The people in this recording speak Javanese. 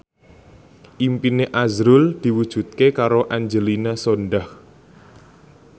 impine azrul diwujudke karo Angelina Sondakh